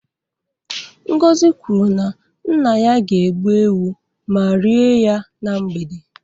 Ngozi kwuru na nna ya ga-egbu ewu ma rie ya na mgbede